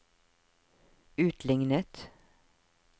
utlignet